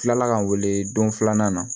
Kila la ka n wele don filanan na